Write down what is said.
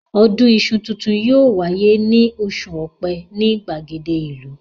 Ọdún iṣu tuntun yóò wáyé ní oṣù Ọ̀pẹ ní ìgbàgede ìlú